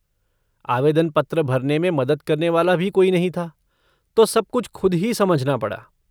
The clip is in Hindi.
आवेदन पत्र भरने में मदद करने वाला भी कोई नहीं था तो सब कुछ ख़ुद ही समझना पड़ा।